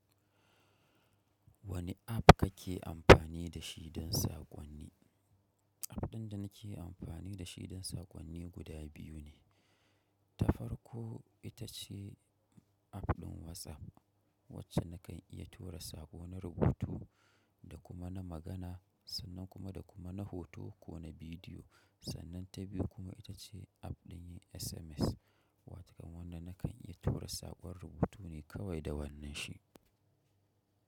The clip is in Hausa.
Wane app kake amfani da shi don saƙonni? App ɗin da nake amfani da shi don saƙonni guda biyu ne. Ta farko ita ce app ɗin WhatsApp, wacce nakan iya tura saƙo na rubutu da kuma na magana, sannan kuma da kuma na hoto ko na bidiyo. Sannan ta biyu kuma itace app din yin sms watakan wanda na kan iya tura sakon rubutu ne kawai da wannan shi.